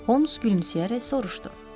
Holms gülümsəyərək soruşdu.